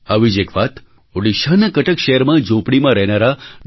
આવી જ એક વાત ઉડીશાના કટક શહેરમાં ઝૂંપડીમાં રહેનારા ડી